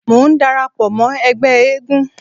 Mò ń dara pọ̀ mọ́ ẹgbẹ́ eégún.